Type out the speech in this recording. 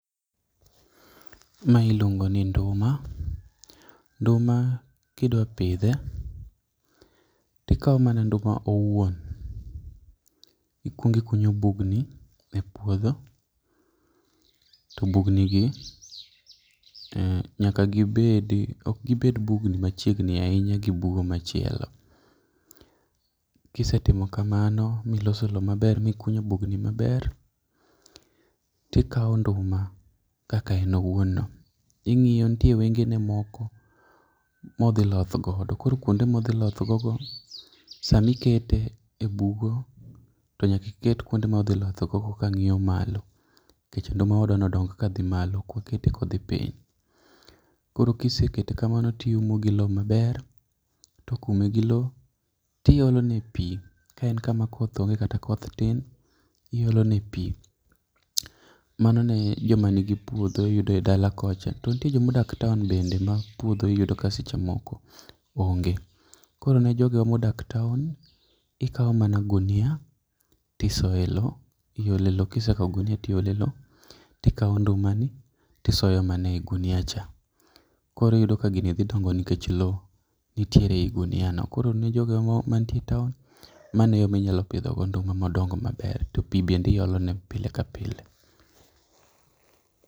Mae iluongo ni nduma, nduma kidwa pidhe to ikawo mana nduma owuon. Ikuongo ikunyo bugni e puodho to bugnigi nyaka gibed, ok gibed bugni machiegni ahinya gi bugo machielo. Ka isetimo kamano miloso lowo maber mikunyo bugni maber, to ikawo nduma kaka en owuon no, ing'iyo nitie wengene moko modhi loth godo koro kuonde modhi loth gogo, sama ikete ebugo to nyaka iket kuonde modhi lothgo go kang'iyo malo nikech nduma wadwani odong kadh malo koro ok kete kodhi piny. Koro ka isekete kamano to iumo gi lowo maber. Tok ume gi lowo o iolo negi pi ka en kama koth onge kata koth tin to iolone pi. Mano ne joma nigi puodho yudo e dala kocha. To nitie joma odak e town bende ma puodho iyudo ka seche moko onge koro nejogo modak v town , ikawo mana gunia to isoye lowo iole lowo, kisekawo gunia tiole lowo to ikawo ndumani to isoyo mana e gunia cha koro iyudo ka gini dhi dongo nikech lowo nitiere e gunia no koro ne jogo mantie [cs6town, mano e yo ma inyalo pidho go nduma modong maber to pi bende iolone pile kapile.